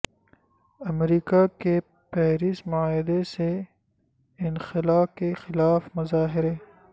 امریکہ کے پیرس معاہدے سے انخلا کے خلاف مظاہرے